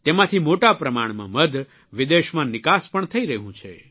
તેમાંથી મોટા પ્રમાણમાં મધ વિદેશમાં નિકાસ પણ થઇ રહ્યું છે